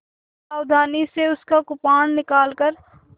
सावधानी से उसका कृपाण निकालकर